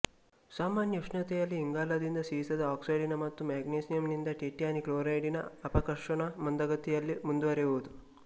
ಸಾಮಾನ್ಯ ಉಷ್ಣತೆಯಲ್ಲಿ ಇಂಗಾಲದಿಂದ ಸೀಸದ ಆಕ್ಸೈಡಿನ ಮತ್ತು ಮ್ಯಾಗ್ನೀಸಿಯಂನಿಂದ ಟಿಟ್ಯಾನಿ ಕ್ಲೋರೈಡಿನ ಅಪಕರ್ಷಣ ಮಂದಗತಿಯಲ್ಲಿ ಮುಂದುವರೆಯುವುದು